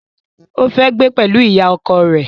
Ó fẹ́ gbé pẹ̀lú ìyá ọkọ rẹ̀